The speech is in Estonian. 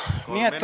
Kolm minutit.